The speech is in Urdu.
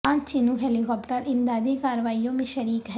پانچ چنوک ہیلی کاپٹر امدادی کارروائیوں میں شریک ہیں